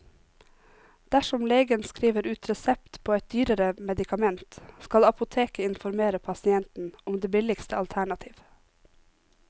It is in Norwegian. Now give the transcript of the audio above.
Dersom legen skriver ut resept på et dyrere medikament, skal apoteket informere pasienten om det billigste alternativ.